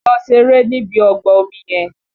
Lọ ṣeré níbi ọgbà omi yẹn!